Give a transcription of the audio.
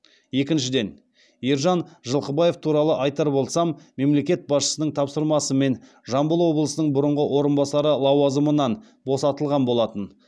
екіншіден ержан жылқыбаев туралы айтар болсам мемлекет басшысының тапсырмасымен жамбыл облысының бұрынғы орынбасары лауазымынан босатылған болатын